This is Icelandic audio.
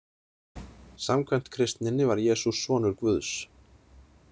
Samkvæmt kristninni var Jesús sonur Guðs.